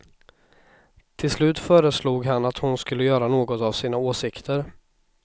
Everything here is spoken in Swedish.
Till slut föreslog han att hon skulle göra något av sina åsikter.